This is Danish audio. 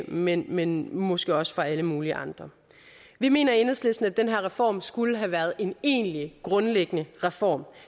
men men måske også for alle mulige andres vi mener i enhedslisten at den her reform skulle have været en egentlig grundlæggende reform